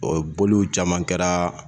O boliw caman kɛra